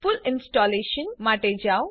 full installation માટે જાઓ